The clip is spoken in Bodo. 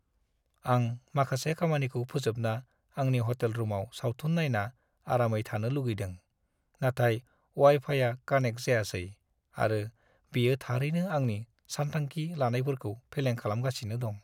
आं माखासे खामानिखौ फोजोबना आंनि हटेल रुमाव सावथुन नायना आरामै थानो लुगैदों, नाथाय अवाइ-फाइआ कानेक्ट जायासै आरो बेयो थारैनो आंनि सानथांखि लानायफोरखौ फेलें खालामगासिनो दं।